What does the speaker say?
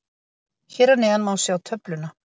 Hér að neðan má sjá töfluna.